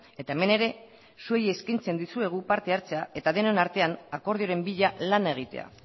eta hemen ere zuei eskaintzen dizuegu parte hartzea eta denon artean akordioren bila lan egitea